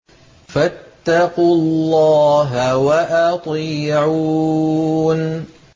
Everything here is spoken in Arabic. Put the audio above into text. فَاتَّقُوا اللَّهَ وَأَطِيعُونِ